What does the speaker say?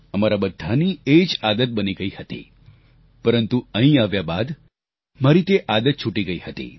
અમારા બધાની એ જ આદત બની ગઈ હતી પરંતુ અહીં આવ્યા બાદ મારી તે આદત છૂટી ગઈ હતી